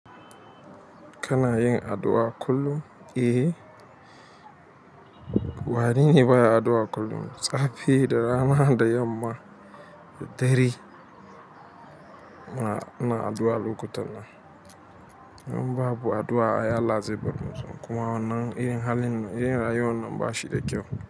Kana yin addu'a kullum? Eh, wani ne baya addu'a kullum. Safe da rana da yamma da dare ina addu'a lokutan nan idan babu addu'a, ai Allah zai bar mu. Kuma wannan irin halin, irin rayuwan nan ba shi da kyau.